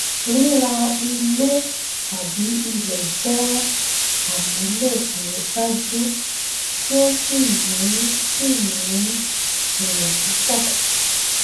rírà ilé tàbí ilẹ jẹ àmúlò tó dájú tí ó sì ní sì ní èrè púpọ